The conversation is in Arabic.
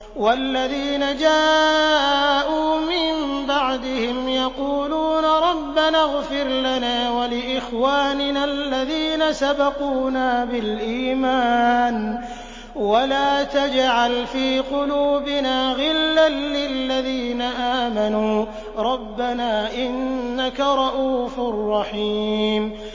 وَالَّذِينَ جَاءُوا مِن بَعْدِهِمْ يَقُولُونَ رَبَّنَا اغْفِرْ لَنَا وَلِإِخْوَانِنَا الَّذِينَ سَبَقُونَا بِالْإِيمَانِ وَلَا تَجْعَلْ فِي قُلُوبِنَا غِلًّا لِّلَّذِينَ آمَنُوا رَبَّنَا إِنَّكَ رَءُوفٌ رَّحِيمٌ